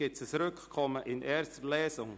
Gibt es ein Rückkommen in der ersten Lesung?